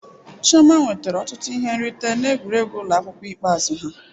Chioma nwetara ọtụtụ ihe nrite n'egwuregwu ụlọ akwụkwọ ikpeazụ ha.